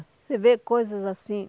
Você vê coisas assim.